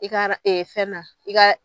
I ka fɛn na i ka